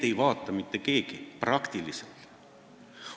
Seda kanalit ei vaata peaaegu mitte keegi.